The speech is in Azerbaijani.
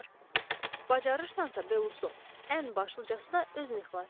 Bacarırsansa Belusu, ən başlıcası da özünü xilas et.